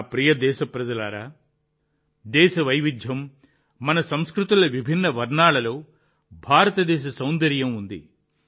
నా ప్రియమైన దేశప్రజలారా దేశ వైవిధ్యం మన సంస్కృతుల విభిన్న వర్ణాల్లో భారతదేశ సౌందర్యం ఉంది